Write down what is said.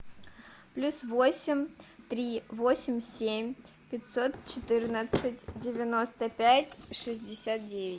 плюс восемь три восемь семь пятьсот четырнадцать девяносто пять шестьдесят девять